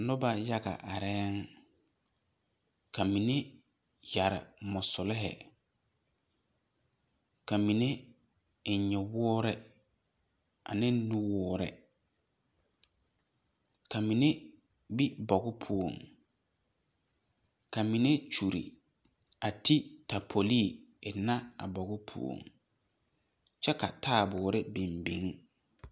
Nobɔ yaga arɛɛŋ ka mine yɛre mosulohi ka mine eŋ nyowoore aneŋ nu woore ka mine be boge poɔŋ ka mine kyure a te tapolee eŋnɛ a nige poɔŋ kyɛ ka taaboore biŋbiŋ.